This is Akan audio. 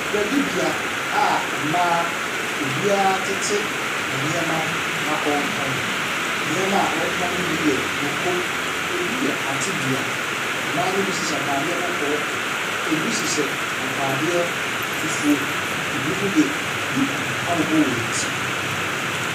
Dwadibea a mmaa obiara tete ne nneɛma ho a ɔretɔn, nneɛma ɔretɔn no bi yɛ mako, ɛbi yɛ atedua. Mmaa no bi hyehyɛ ataadeɛ kɔkɔɔ, ɛbi hyehyɛ ataadeɛ fufuo, ɛbinom de duku abobɔ hɔn ti.